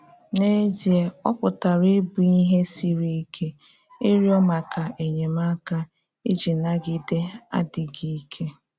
N’ezié, ọ́ pụtara ịbụ ihe siri ike ịrịọ́ maka enyemáka iji nagide adị́ghị íké.